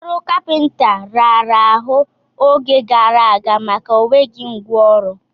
Ọrụ kapịnta raara ahụ oge gara aga maka enweghị ngwa ọrụ.